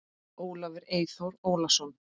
Ólafur Eyþór Ólason.